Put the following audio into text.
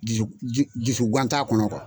Dusugan t'a kɔnɔ kuwa.